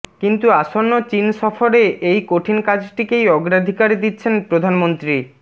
কিন্তু আসন্ন চিন সফরে এই কঠিন কাজটিকেই অগ্রাধিকার দিচ্ছেন প্রধানমন্ত্রী